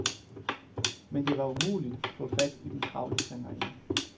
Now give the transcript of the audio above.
Men det var umuligt at få fat i den travle sangerinde.